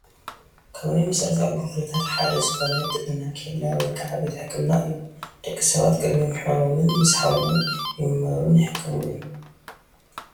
ካብ ናይ መሰረታዊ ኣገልግሎታት ሓደ ዝኾነ ጥዕና ኬላ ወይ ከዓ ቤት ሕክምና እዩ፡፡ ደቂ ሰባት ቅድሚ ምሕማሞን ምስ ሓመሙን ይምርመሩን ይሕከምሉን፡፡